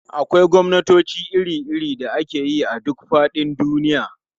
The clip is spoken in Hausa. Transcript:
Akwai gwamnatoci iri-iri da ake yi a duk faɗin duniya.